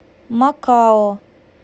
макао